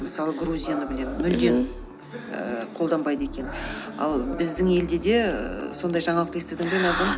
мысалы грузияны білем мүлдем ііі қолданбайды екен ал біздің елде де ііі сондай жаңалықты естідің бе назым